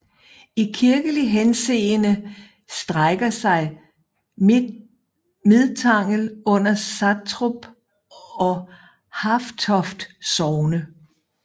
I kirkelig henseende strækker sig Midtangel under Satrup og Hafetoft Sogne